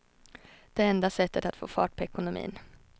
Det är enda sättet att få fart på ekonomin.